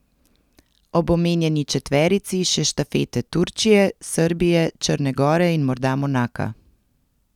Ob omenjeni četverici še štafete Turčije, Srbije, Črne gore in morda Monaka.